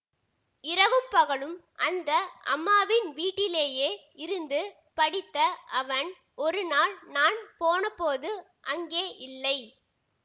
இரவும் பகலும் அந்த அம்மாவின் வீட்டிலேயே இருந்து படித்த அவன் ஒருநாள் நான் போனபோது அங்கே இல்லை